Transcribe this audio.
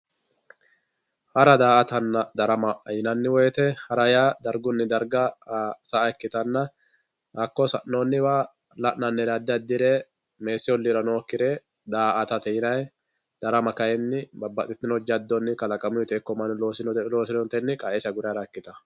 hara daa"atanna darama yinanni woyite hara yaa dargunni daraga sa"a ikkittanna hakko sa'nooniwala'nannire addi addire meesi olliira nookire daa"ate yinayi darama kayiini babbaxitino jaddon kalaqamuyiite ikko mannu loosinoteyi qa"esi agure hara ikkitayoo.